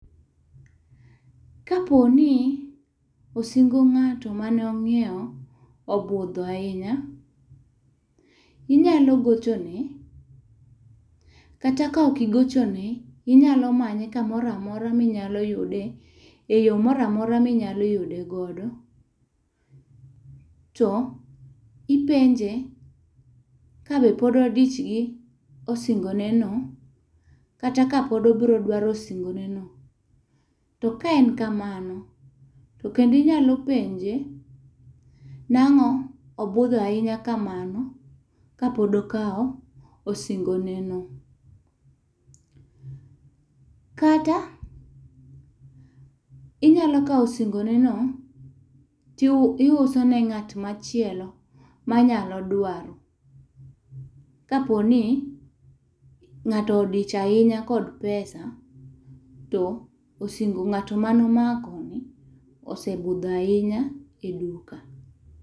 Kapo ni osingo ng'ato manomiyo, obudho ahinya, inyalo gochone kata ka ok igochone, inyalo manye kamora mora minyalo yude,e yo moramora minyalo yude godo. To ipenje kabe pod odich gi osingoneno kata ka pod obro dwaro osingoneno. To ka en kamano, to kendo inyalo penje nang'o obudho ahinya kamano kapod okawo osingoneno. Kata, inyalo kawo osingoneno to iuso ne ng'at machielo manyalo dwaro, kaponing'ato odich ahinya kod pesa, to ng'at manumako osebudho ahinya e duka.